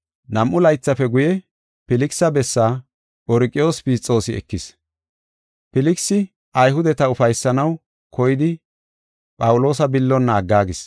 Nam7u laythafe guye, Filkisa bessaa Phorqiyoos Fisxoosi ekis. Filkisi Ayhudeta ufaysanaw koyidi Phawuloosa billonna aggaagis.